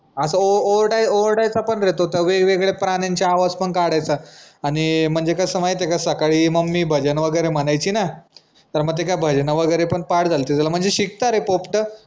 असा ओ ओ ओरडा ओरडायचा पन रे तो त वेगवेगळ्या प्राण्यांचे आवाज पन काढायचा आनि म्हनजे कस माहितीय का सकाळी mummy भजन वगैरे म्हनायची ना त म ते काय भजन वगैरे पन पाठ झालते त्याला म्हनजे शिकता रे पोपट